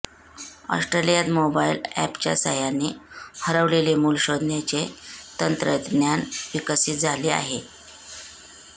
ऑस्ट्रेलियात मोबाइल अॅपच्या सहाय्याने हरवलेले मूल शोधण्याचे तंत्रज्ञान विकसित झाले आहे